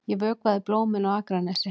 Ég vökvaði blómin á Akranesi.